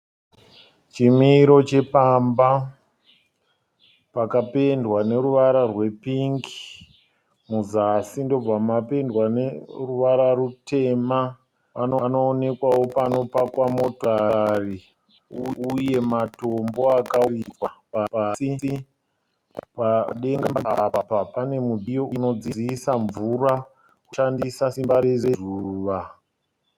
Chimiro chepamba pakapendwa neruvara rwepingi muzasi ndobva mapendwa neruvara rutema. Panoonekwawo pano pakwa motokari uye matombo akavakwa pasi. Padenga pane mudziyo unodziisa mvura uchishandisa simba rezuva.